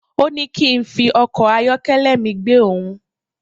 Òní kín fi ọkọ̀ ayọ́kẹ́lẹ́ mi gbe òhun